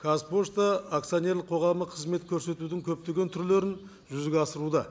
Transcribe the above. қазпошта акционерлік қоғамы қызмет көрсетудің көптеген түрлерін жүзеге асыруда